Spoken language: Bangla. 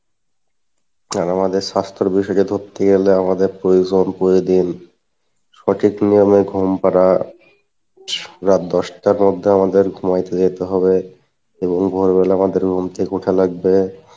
আমাদের স্বাস্থ্যের বিষয় কে ধরতে গেলে আমাদের প্রয়োজন প্রতিদিন সঠিক নিয়মে ঘুম পারা, রাত দশ টার মধ্যে আমাদের ঘুমাইতে যেতে হবে, এবং ভোরবেলা আমাদের room থেকে উঠা লাগবে